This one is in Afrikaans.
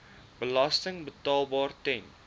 belasting betaalbaar ten